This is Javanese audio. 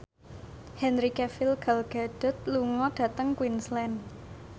Henry Cavill Gal Gadot lunga dhateng Queensland